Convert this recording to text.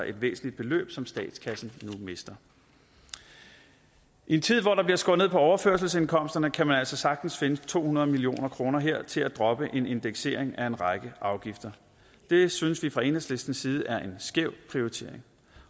et væsentligt beløb som statskassen nu mister i en tid hvor der bliver skåret ned på overførselsindkomsterne kan man altså sagtens finde to hundrede million kroner her til at droppe en indeksering af en række afgifter det synes vi fra enhedslistens side er en skæv prioritering